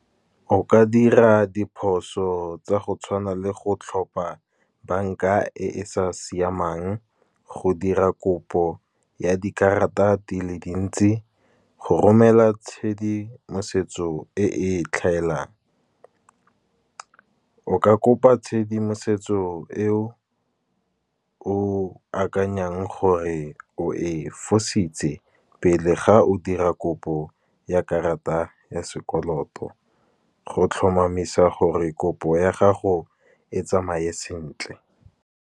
O ka dira diphoso tsa go tshwana le go tlhopha bank-a e e sa siamang, go dira kopo ya dikarata dile dintsi, go romela tshedimosetso e e tlhaelang. O ka kopa tshedimosetso e o o akanyang gore o e fositse, pele ga o dira kopo ya karata ya sekoloto. Go tlhomamisa gore kopo ya gago e tsamaye sentle.